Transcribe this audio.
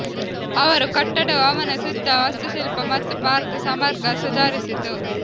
ಅವರು ಕಟ್ಟಡವು ಅವನ ಸುತ್ತ ವಾಸ್ತುಶಿಲ್ಪ ಮತ್ತು ಪಾರ್ಕ್ ಸಮಗ್ರ ಸುಧಾರಿಸಿತು